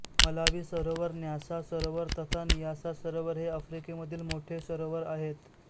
Malawi सरोवर Nyasa सरोवर तथा नियासा सरोवर हे आफ्रिकेमधील मोठे सरोवर आहे